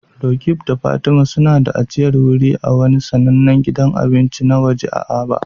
Roqeeb da Fatima suna da ajiyar wuri a wani sanannen gidan abinci na waje a Aba.